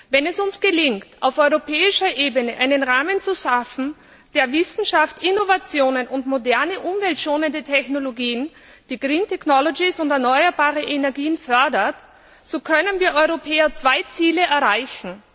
Wenn es uns gelingt, auf europäischer Ebene einen Rahmen zu schaffen, der Wissenschaft, Innovationen und moderne, umweltschonende Technologien, die green technologies und erneuerbare Energien fördert, so können wir Europäer zwei Ziele erreichen.